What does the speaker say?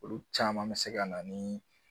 Olu caman bɛ se ka na ni